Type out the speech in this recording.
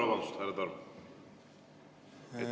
Vabandust, härra Torm!